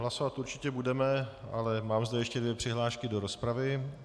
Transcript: Hlasovat určitě budeme, ale mám zde ještě dvě přihlášky do rozpravy.